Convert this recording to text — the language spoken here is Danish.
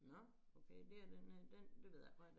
Nå okay det er den her den det ved jeg faktisk ikke